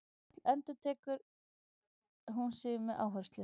Öll, endurtekur hún með áherslu.